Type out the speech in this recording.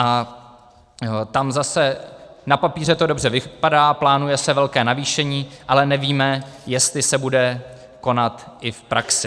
A tam zase, na papíře to dobře vypadá, plánuje se velké navýšení, ale nevíme, jestli se bude konat i v praxi.